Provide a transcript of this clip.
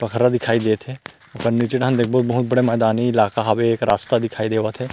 बकरा दिखाई देत हे ओकर निचे डाहन देखबो बहुत बड़ा मैंदानी इलाका हवे एक रास्ता दिखाई देवत हे।